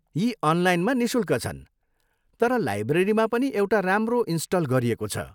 यी अनलाइनमा निशुल्क छन्, तर लाइब्रेरीमा पनि एउटा राम्रो इन्सटल गरिएको छ।